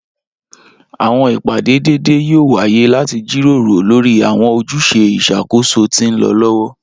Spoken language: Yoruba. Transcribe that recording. Awọn ipade deede yoo waye lati jiroro lori awọn ojuse iṣakoso ti nlọ lọwọ.